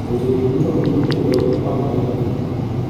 Wechegi duto ondik e dho - Amharic.